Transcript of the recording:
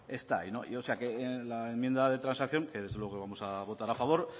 está ahí o sea la enmienda de transacción que desde luego vamos a votar a favor